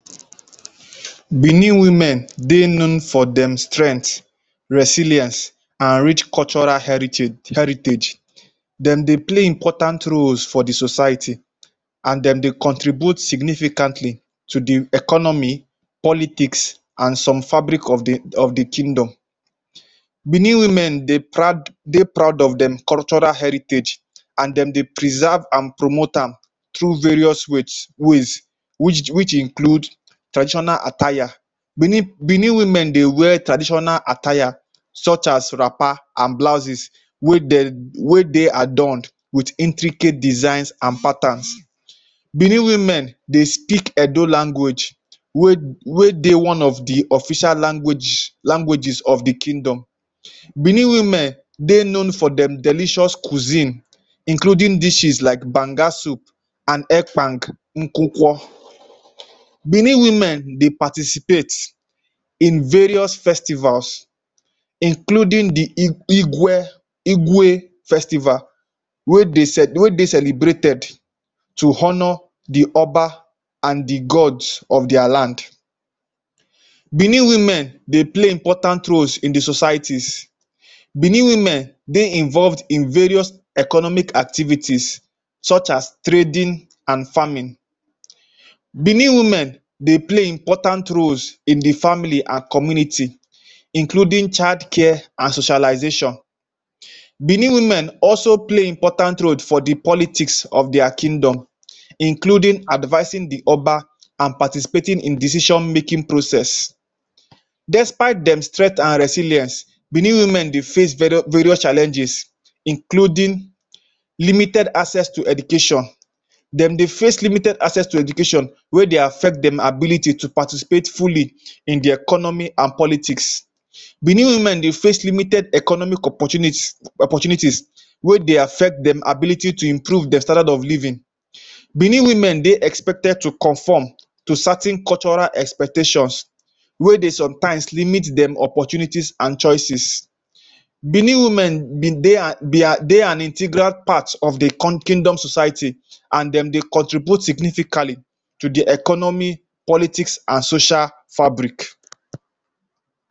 Benin women dey known for dem strength, resilience an rich cultural heritage heritage. Dem dey play important roles for the society, an dem dey contribute significantly to the economy, politics, an some fabric of the of the kingdom. Benin women dey proud dey proud of dem cultural heritage, an dem dey preserve an promote am through various ways which which include traditional attire. Benin Benin women dey wear traditional attire such as wrapper an blouses wey de wey dey adorned with intricate designs an patterns. Benin women dey speak Edo language wey wey dey one of the official language languages of the kingdom. Benin women dey known for dem delicious cuisine including dishes like Banga soup, an Epkang Nkukwo. Benin women dey participate in various festivals including the Igwe, Igwe festival wey de wey de celebrated to honour the Oba an the god of dia land. Benin women dey play important roles in the societies. Benin women dey involved in various economic activities such as trading an farming. Benin women dey play important roles in the family an community including child care an socialization. Benin women also play important road for the politics of dia kingdom including advising the Oba, an participating in decision-making process. Despite dem strength an resilience, Benin women dey face various challenges including limited access to education. Dem dey face limited access to education wey dey affect dem ability to participate fully in the economy an politics. Benin women dey face limited economy opportunity opportunities wey de affect dem ability to improve dem standard of living. Benin women dey expected to conform to certain cultural expectations wey dey sometimes limit dem opportunities an choices. Benin women be dey an be a dey an integral part of the con kingdom society, an dem dey contribute significantly to the economy politics, an social fabric.